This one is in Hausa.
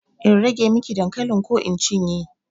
In rage miki dankalin ko in cinye?